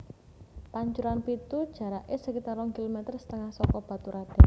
Pancuran Pitu jaraké sekitar rong kilometer setengah saka Baturadèn